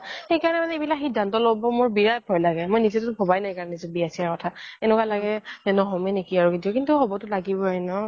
সেইকাৰনে মোৰ এইবিলাক সিধান্ত্য ল্'ব বিৰাত ভয় লাগে মই নিজে তো ভবাই নাই সেইকাৰনে বিয়া চিয়াৰ কথা এনেকুৱা লাগে ন্হমে নেকি কিন্তু হ্'বতো লাগিবয়ে ন